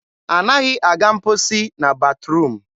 anaghị aga mkposi na batruum.